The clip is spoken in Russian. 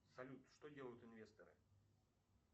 салют что делают инвесторы